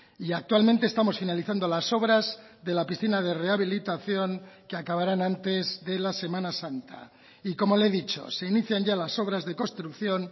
y actualmente estamos finalizando las obras de la piscina de rehabilitación que acabarán antes de la semana santa y como le he dicho se inician ya las obras de construcción